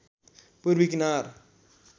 पूर्वी किनार